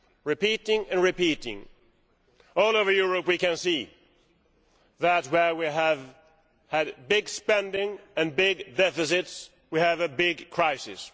Repeating and repeating. All over Europe, we can see that where we have had big spending and big deficits, we have a big crisis.